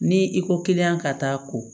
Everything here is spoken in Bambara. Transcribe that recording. Ni i ko kiliyan ka taa ko